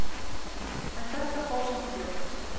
En þetta fór samt fljótt.